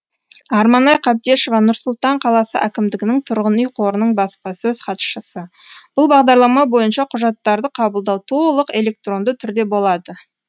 арманай қабдешова нұр сұлтан қаласы әкімдігінің тұрғын үй қорының баспасөз хатшысы бұл бағдарлама бойынша құжаттарды қабылдау толық электронды түрде болады